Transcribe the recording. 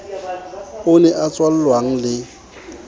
o ne a tswallwang le